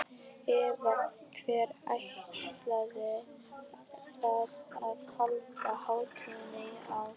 Eva, hvar ætlið þið að halda hátíðina í ár?